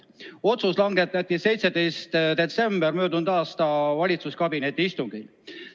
Otsus langetati 17. detsembril valitsuskabineti istungil.